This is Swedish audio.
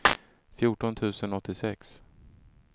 fjorton tusen åttiosex